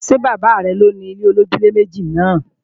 Ṣé bàbá rẹ ni òni ilé-olójúlé-méjì náà?